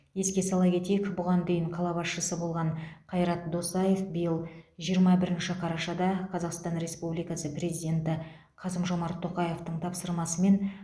еске сала кетейік бұған дейін қала басшысы болған қайрат досаев биыл жиырма бірінші қарашада қазақстан республикасы президенті қасым жомарт тоқаевтың тапсырмасымен